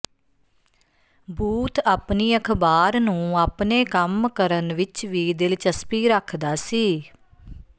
booth ਆਪਣੀ ਅਖ਼ਬਾਰ ਨੂੰ ਆਪਣੇ ਕੰਮ ਕਰਨ ਵਿਚ ਵੀ ਦਿਲਚਸਪੀ ਰੱਖਦਾ ਸੀ